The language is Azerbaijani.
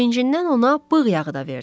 Sevincindən ona bığ yağı da verdi.